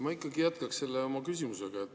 Ma ikkagi jätkaksin oma küsimusega.